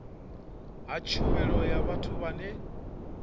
ha tshumelo ya vhathu vhane